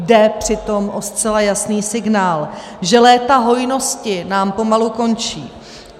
Jde přitom o zcela jasný signál, že léta hojnosti nám pomalu končí.